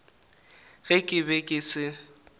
ge ke be ke se